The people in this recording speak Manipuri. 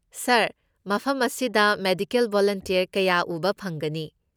ꯁꯥꯔ, ꯃꯐꯝ ꯑꯁꯤꯗ ꯃꯦꯗꯤꯀꯦꯜ ꯚꯣꯂꯨꯟꯇꯤꯌꯔ ꯀꯌꯥ ꯎꯕ ꯐꯪꯒꯅꯤ꯫